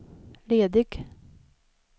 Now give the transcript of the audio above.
ledig